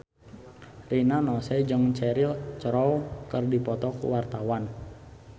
Rina Nose jeung Cheryl Crow keur dipoto ku wartawan